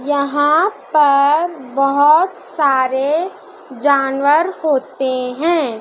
यहां पर बहुत सारे जानवर होते हैं।